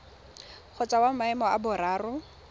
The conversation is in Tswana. kgotsa wa maemo a boraro